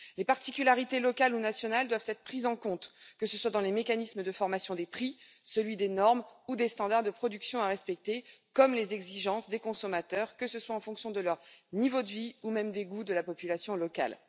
Les particularités locales ou nationales doivent être prises en compte, que ce soit dans le mécanisme de formation des prix, celui des normes ou des standards de production à respecter, comme les exigences des consommateurs, que ce soit en fonction de leur niveau de vie ou même des goûts de la population locale.